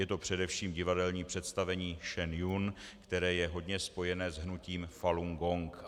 Je to především divadelní představení Shen Yun, které je hodně spojené s hnutím Falun Gong.